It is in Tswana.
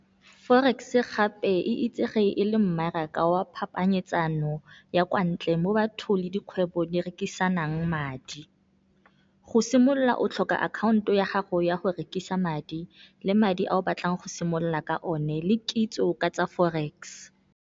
Forex-e gape e itsege e le mmaraka wa phapanyetsano ya kwa ntle mo bathong le dikgwebo di rekisanang madi. Go simolola o tlhoka akhaonto ya gago ya go rekisa madi, le madi a o batlang go simolola ka o ne le kitso ka tsa Forex.